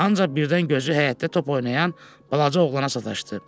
Ancaq birdən gözü həyətdə top oynayan balaca oğlana sataşdı.